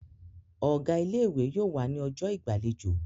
Ọ̀gá ilé-ìwé yóò wà ní ọjọ́ ìgbàlejò.